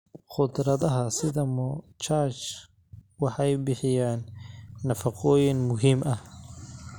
Khudradaha sida moshach waxay bixiyaan nafaqooyin muhiim ah.